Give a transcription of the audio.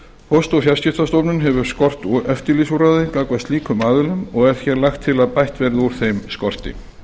póst og fjarskiptastofnun hefur skort eftirlitsúrræði gagnvart slíkum aðilum og er hér lagt til að bætt verði úr þeim skorti